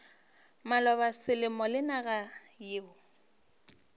maloba selemo le naga yeo